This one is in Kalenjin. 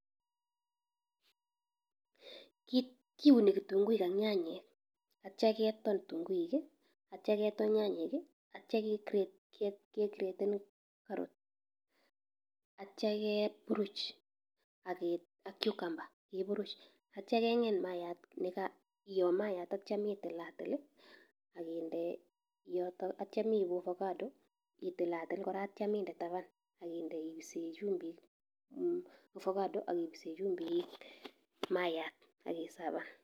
Ki kiuni kitunguik ak nyanyek, atio keton kitunguik, atio keton nyanyek, atio kegre kegreten carrot atio keburuch age ak cucumber keburuch. Atio keg'eny maaiyat nega iyoo maaiyat tatio mitilatil, aginde yotok atio meibu ovacado itilatil kora atio minde taban ak inde ibise chumbik ovacado ak ibise chumbik maaiyat akisavan.